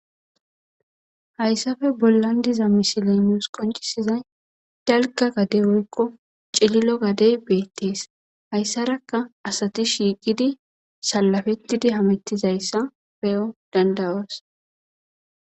hayssafe bollan diza misilemius qoncisizay dalka gadey wolkko cililo gadey beettees hayssarakka asati shiiqidi salafettidi hamettizayssa peyo dandawas